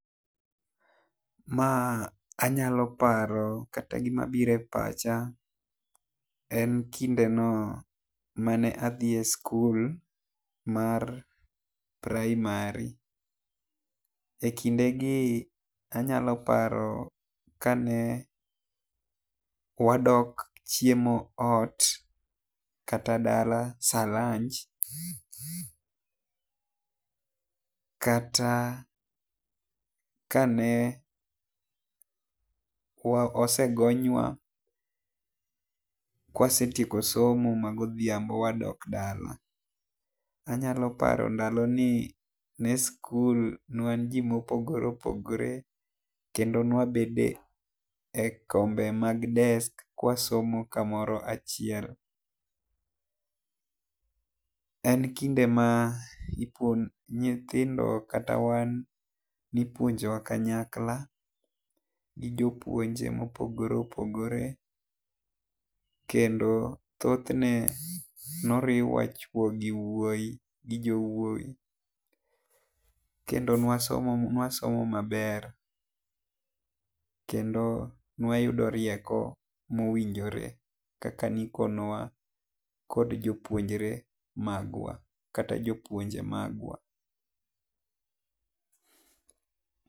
Ma anyalo paro kata gi ma biro e pacha en kinde no mane adhi e skul mar primary, e kinde gi anyalo paro ka ne wadok chiemo ot kata dala sa lunch kata ka ne wa osegonywa ka wasetieko somo ma godhiambo wadok dala. Anyalo paro ndalo gi ne skul ne wan ji ma opogore opogore kendo ne wabedo e kombe mag desk ka wasomo ka moro achiel en kinde ma nyithindo kata wan ne ipuonjo wa kanyakla gi jopuonj ma opogore opogore kendo thothne ne oriwa chuo gi wuoyi gi jowuoyi kendo ne wasomo ne wasomo ma ber kendo ne wayudo rieko ma owinjore kaka ne ikonyo wa kod jopunjre magwa kata jopuonje magwa.